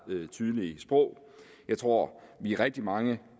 tydelige sprog jeg tror vi er rigtig mange